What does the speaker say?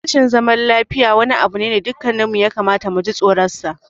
Rashin zaman lafiya wani abu ne da dukanmu ya kamata mu ji tsoronsa.